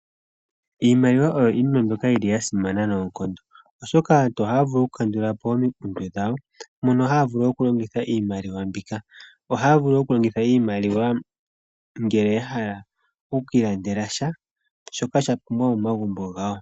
Iimaliwa oyo iinima mbyoka yasimana noonkondo oshoka aantu ohaa vulu oku kandulapo omikundu dhawo mono haavulu okulongitha iimaliwa mbika. Ohaya vulu okulongitha iimaliwa ngele yahala okwillandela sha shoka shapumbiwa momagumbo gawo